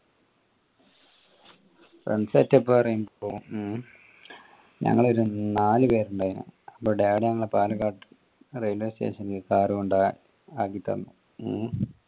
വൻ set up പറയുമ്പോ ഉം ഞങ്ങൾ ഒരു നാല് പേര് ഇണ്ടെനു അപ്പൊ ഞങ്ങളെ പാലക്കാട്ട് railway station കൊണ്ട് ആക്കി തന്ന് ഹും